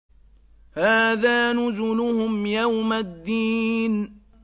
هَٰذَا نُزُلُهُمْ يَوْمَ الدِّينِ